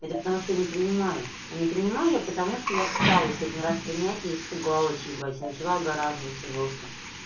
это потому что я не принимаю а не принимаю я потому что я пыталась один раз принятие испугалась ебать и начала огораживаться жёстко